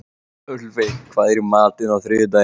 Ölveig, hvað er í matinn á þriðjudaginn?